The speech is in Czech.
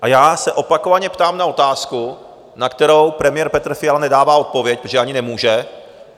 A já se opakovaně ptám na otázku, na kterou premiér Petr Fiala nedává odpověď, protože ani nemůže: